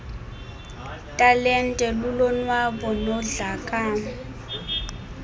talente lulonwabo nodlamko